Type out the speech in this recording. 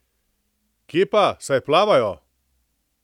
Kje pa, saj plavajo!